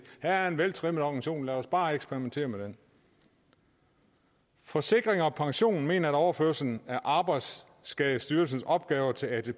her er en veltrimmet organisation lad os bare eksperimentere med den forsikring pension mener om overførslen af arbejdsskadestyrelsens opgaver til atp at